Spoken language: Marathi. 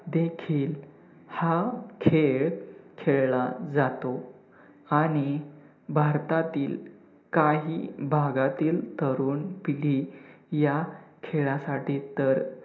देखील हा खेळ खेळला जातो आणि भारतातील काही भागातील तरुण पिढी ह्या खेळासाठी तर,